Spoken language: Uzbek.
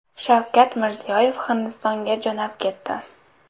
Shavkat Mirziyoyev Hindistonga jo‘nab ketdi .